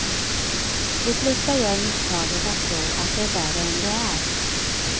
De flesta gör misstaget att tro att det är värre än det är.